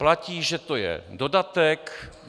Platí, že to je dodatek?